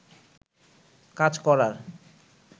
কাজ করার